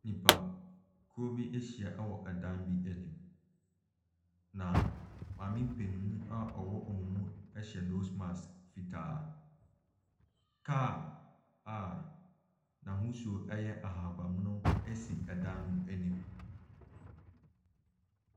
Nnipakuo bi ahyia wɔ dan bi anim, na maame panin a ɔwɔ wɔn mu hyɛ nose mask fitaa. Kaa a n'ahosuo yɛ ahaban mono si dan no anim.